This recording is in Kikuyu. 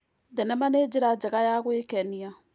Thenema nĩ njĩra njega ya gwĩkenia.